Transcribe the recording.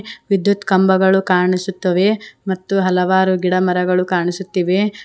ವಿದ್ಯುತ್ ಕಂಬಗಳು ಕಾಣಿಸುತ್ತವೆ ಮತ್ತು ಹಲವಾರು ಗಿಡ ಮರಗಳು ಕಾಣಿಸುತ್ತಿವೆ.